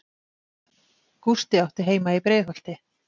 Gústi átti heima í Breiðholti.